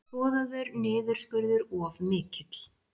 Boðaður niðurskurður of mikill